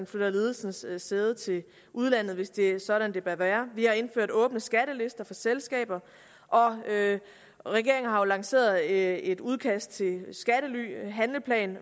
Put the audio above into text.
flytter ledelsens sæde til udlandet hvis det er sådan det bør være vi har indført åbne skattelister for selskaber og regeringen har jo lanceret et udkast til handleplan